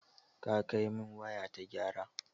Ka kai min waya ta gyara.